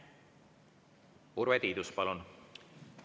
Urve Tiidus, palun!